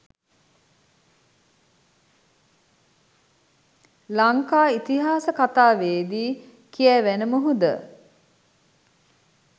ලංකා ඉතිහාස කතාවේ දී කියැවෙන මුහුද